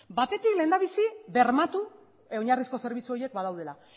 batetik lehendabizi bermatu oinarrizko zerbitzu horiek badaudela